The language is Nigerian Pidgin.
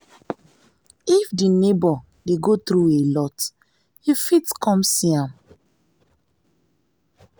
if di neighbour dey go through alot you fit come see am